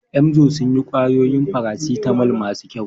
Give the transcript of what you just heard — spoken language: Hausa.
Emzor sun yi ƙwayoyin farasitamol masu kyau.